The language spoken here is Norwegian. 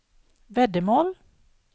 veddemål